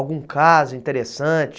Algum caso interessante?